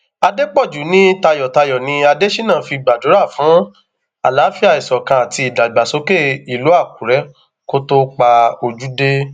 àdèpọjù ní tayọtayọ ni adésínà fi gbàdúrà fún àlàáfíà ìṣọkan àti ìdàgbàsókè ìlú àkùrẹ kó tóó pa ojú dé